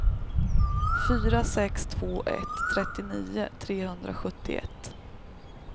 fyra sex två ett trettionio trehundrasjuttioett